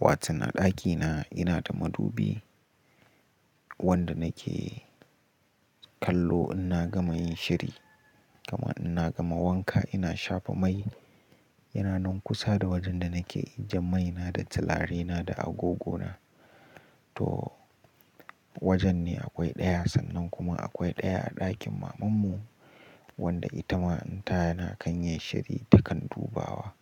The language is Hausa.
waton a ɗakina ina da madubi wanda nake kallo in na gama yin shiri, kama in na gama wanka ina shafa mai, yana nan kusa da wajen da nake ajiye maina da turarena da agogona. To wajen ne akwai ɗaya, sannan kuma akwai ɗaya a ɗakin mamanmu wanda ita ma in ta yana kan yin shiri takan dubawa.